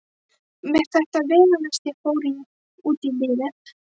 Með þetta veganesti fór ég út í lífið.